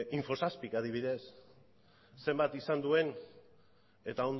info zazpi k adibidez zenbat izan duen eta